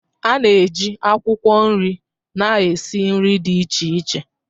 A na-eji akwụkwọ nri na-esi nri dị iche iche.